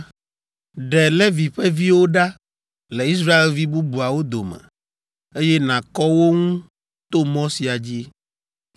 “Ɖe Levi ƒe viwo ɖa le Israelvi bubuawo dome, eye nàkɔ wo ŋu to mɔ sia dzi.